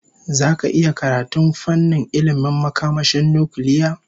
Zaka iya karatun fannin ilmin makamashin nukiliya?